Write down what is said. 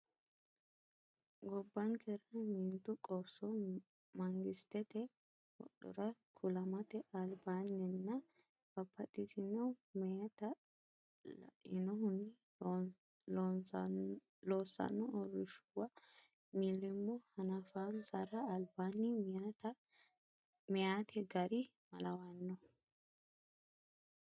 Gobbankera meentu qoosso mangistete wodhora kulamate albaan- ninna babbaxxitino meyaata lainohunni loossanno uurrinshuwa mil- limmo hanafansara albaanni meyaate gari malawanno?